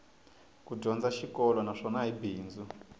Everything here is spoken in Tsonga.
ku dyondza xikolo naswona hi bindzu